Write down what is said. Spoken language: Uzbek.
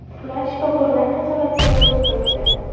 Ular shifokorlar nazoratida bo‘lib turibdi.